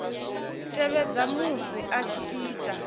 tevhedza musi a tshi ita